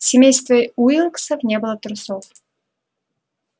в семействе уилксов не было трусов